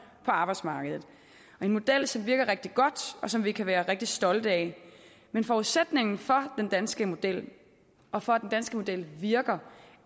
på arbejdsmarkedet og en model som virker rigtig godt og som vi kan være rigtig stolte af men forudsætningen for den danske model og for at den danske model virker